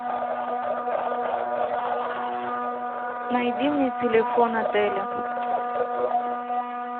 найди мне телефон отеля